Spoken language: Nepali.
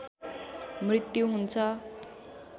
मृत्यु हुन्छ